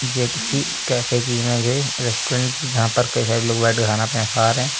ये कीसी कैफे की इमेज है रेस्टोरेंट की जहां पर कई सारे लोग बैठकर खाना पीना खा रहे हैं।